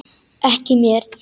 Ekki mér.